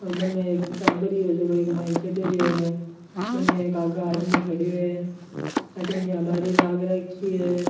और बनने एक टाबर भी है जो ीमा चढ़ रिहो है बनने एक आगा आदमी खड्यो है अठीने बारी लाग राखी है।